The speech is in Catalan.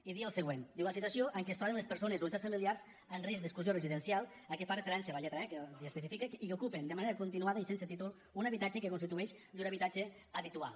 i diu el següent diu la situació en què es troben les persones o unitats familiars en risc d’exclusió residencial a què fa referència la lletra e que ho especifica i que ocupen de manera continuada i sense títol un habitatge que constitueix llur habitatge habitual